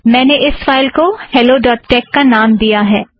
मैंने इस फ़ाइल को हेलो डॉट टेक का नाम दिया है